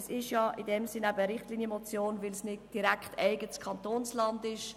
Es ist eine Richtlinienmotion, weil es nicht direkt um eigenes Kantonsland geht.